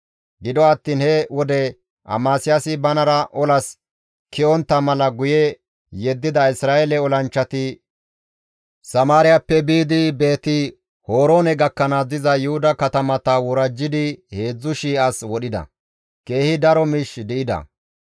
Gido attiin he wode Amasiyaasi banara olas ke7ontta mala guye yeddida Isra7eele olanchchati Samaariyappe biidi Beeti-Horoone gakkanaas diza Yuhuda katamata worajjidi 3,000 as wodhida; keehi daro miishsheka di7ida.